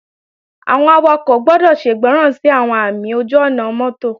Àwọn awakọ̀ gbọ́dọ̀ ṣègbọràn sí àwọn ààmì ojú-ọ̀nà mọ́tò